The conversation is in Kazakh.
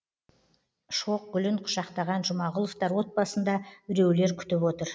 шоқ гүлін құшақтаған жұмағұловтар отбасын да біреулер күтіп отыр